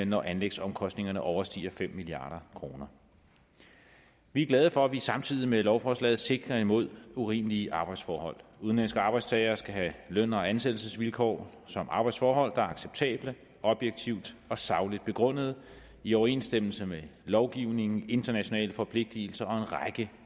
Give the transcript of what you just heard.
når anlægsomkostningerne overstiger fem milliard kroner vi er glade for at vi samtidig med lovforslaget sikrer imod urimelige arbejdsforhold udenlandske arbejdstagere skal have løn og ansættelsesvilkår samt arbejdsforhold der er acceptable og objektivt og sagligt begrundede i overensstemmelse med lovgivningen internationale forpligtelser og